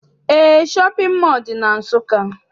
Eé, shọpịn mọọ dị na Nsụka.